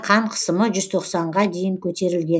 қан қысымы жүз тоқсанға дейін көтерілген